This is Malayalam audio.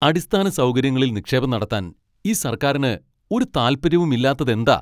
അടിസ്ഥാന സൗകര്യങ്ങളിൽ നിക്ഷേപം നടത്താൻ ഈ സർക്കാരിന് ഒരു താല്പര്യവും ഇല്ലാത്തതെന്താ?